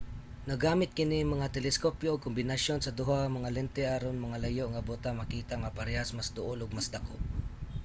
naggamit kini nga mga teleskopyo og kombinasyon sa duha nga lente aron ang mga layo nga butang makita nga parehas mas duol ug mas dako